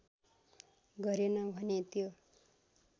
गरेन भने त्यो